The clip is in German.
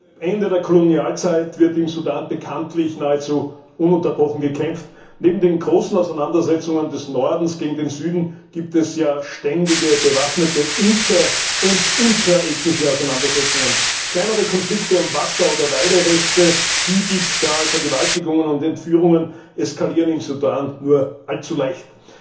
Herr Präsident! Seit dem Ende der Kolonialzeit wird im Sudan bekanntlich nahezu ununterbrochen gekämpft. Neben den großen Auseinandersetzungen des Nordens gegen den Süden gibt es ständige, bewaffnete inter und intraethnische Auseinandersetzungen. Kleinere Konflikte um Wasser oder Weiderechte, Viehdiebstahl, Vergewaltigungen und Entführungen eskalieren im Sudan nur allzu leicht.